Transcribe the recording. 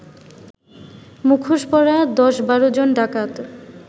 মুখোশ পরা ১০-১২ জন ডাকাত